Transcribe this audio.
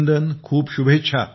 खूप खूप शुभेच्छा